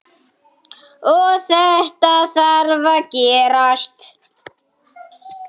Og þetta þarf að gerast.